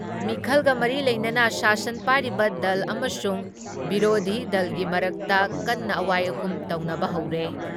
ꯃꯤꯈꯜꯒ ꯃꯔꯤ ꯂꯩꯅꯅ ꯁꯥꯁꯟ ꯄꯥꯏꯔꯤꯕ ꯗꯜ ꯑꯃꯁꯨꯡ ꯕꯤꯔꯣꯙꯤ ꯗꯜꯒꯤ ꯃꯔꯛꯇ ꯀꯟꯅ ꯑꯋꯥꯏ ꯑꯈꯨꯝ ꯇꯧꯅꯕ ꯍꯧꯔꯦ ꯫